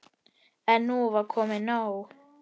En nú var komið nóg.